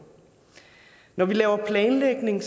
når vi laver planlægning